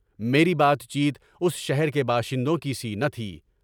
میری بات چیت اس شہر کے باشندوں کی سی نہ تھی۔